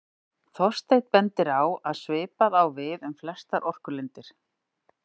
Þorsteinn bendir á að svipað á við um flestar orkulindir.